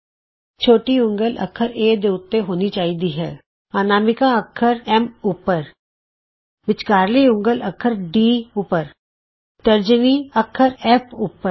ਛੋਟੀ ਉਂਗਲ ਅੱਖਰ ਏ ਉੱਤੇ ਹੀ ਹੋਣੀ ਚਾਹੀਦੀ ਹੈ ਅਨਾਮਿਕਾ ਅੱਖਰ ਐਸ ਉੱਪਰ ਵਿਚਕਾਰਲੀ ਉਂਗਲ ਅੱਖਰ ਡੀ ਉੱਪਰ ਤਰਜਨੀ ਅੱਖਰ ਐਫ ਉੱਪਰ